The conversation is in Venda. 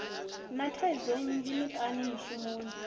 na thaidzo nnzhi miṱani mishumoni